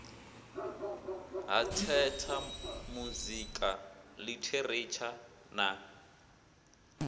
ha theatha muzika ḽitheretsha na